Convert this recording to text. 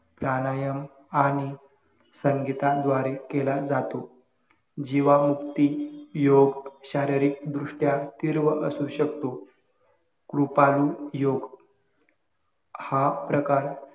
प्राणायाम आणि संगीता द्वारे केला जातो. जीवामुक्ती योग शारीरिक दृष्ट्या तीव्र असू शकतो. कृपाळू योग हा प्रकार